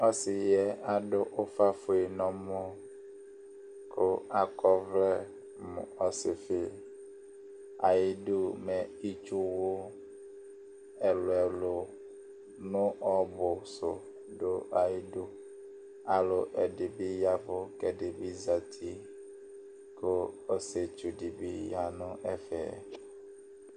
ɔsi yɛ adu ufa fue nu ɔmɔ ku akɔ ɔvlɛ mu ɔsifi, ayi du mɛ itsu wu ɛlu ɛlu nu ɔbu su du ayidu, alu ɛdi yavu ku ɛdi bi zati, ku ɔsietsu di bi ya nu ɛfɛ